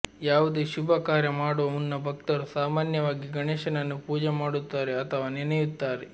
ಯಾವುದೇ ಶುಭ ಕಾರ್ಯ ಮಾಡುವ ಮುನ್ನ ಭಕ್ತರು ಸಾಮಾನ್ಯವಾಗಿ ಗಣೇಶನನ್ನು ಪೂಜೆ ಮಾಡುತ್ತಾರೆ ಅಥವಾ ನೆನೆಯುತ್ತಾರೆ